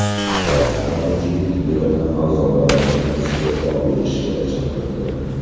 Shtat qonunchilik yig‘ini a’zolari uni iste’fo berishga chaqirdi.